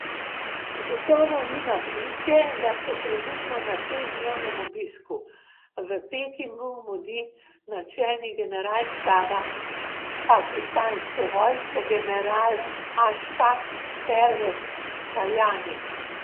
Gotovo ni naključje, da se trenutno na šestdnevnem obisku v Pekingu mudi načelnik generalštaba pakistanske vojske general Ašfak Pervez Kajani.